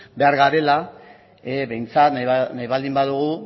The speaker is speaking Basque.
behar garela behintzat nahi baldin badugu